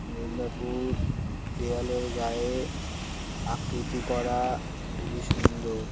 মিদনাপুর দেয়ালের গায়ে আকৃতি করা খুবই সুন্দর >।